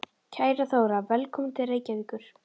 Kæra Þóra. Velkomin til Reykjavíkur.